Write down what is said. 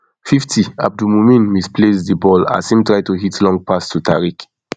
fifty abdul mumin misplace di ball as im try to hit long pass to tariq